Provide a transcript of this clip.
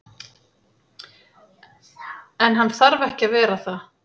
En hann þarf ekki að vera það.